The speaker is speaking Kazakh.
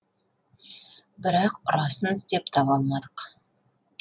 бірақ ұрасын іздеп таба алмадық